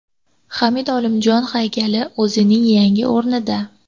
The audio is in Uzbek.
Hamid Olimjon haykali o‘zining yangi o‘rnida.